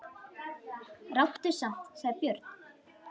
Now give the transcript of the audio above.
Ráddu samt, sagði Björn.